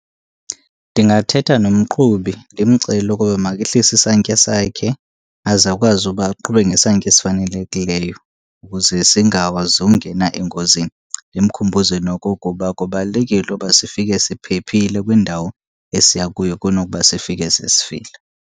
Ndingathetha nomqhubi ndimcele ukuba makehlise isantya sakhe, aze akwazi uba aqhube ngesantya esifanelekileyo ukuze singakwazi ungena engozini. Ndimkhumbuze nokokuba kubalulekile uba sifike siphephile kwindawo esiya kuyo kunokuba sifike sesifile.